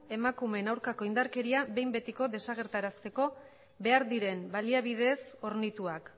emakumeen aurkako indarkeria behin betiko desagertarazteko behar diren baliabideez hornituak